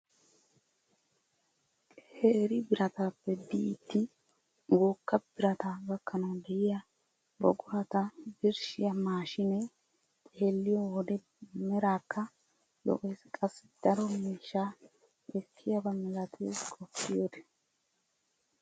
Qeeri birataappe biidi wogga birataa gakkanawu de'iyaa buqurata birshiyaa maashinee xeelliyoo wode meraakka lo"ees. qassi daro miishshaa ekkiyaaba milatees qoppiyoode!